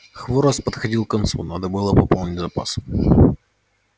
хворост подходил к концу надо было пополнить запас